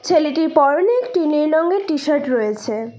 ছেলেটির পড়নে একটি নীল রঙের টি শার্ট রয়েছে।